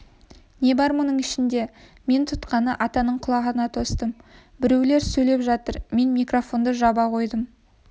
не бар мұның ішіңде мен тұтқаны атаның құлағына тостым біреулер сөйлеп жатыр мен микрофонды жаба қойдым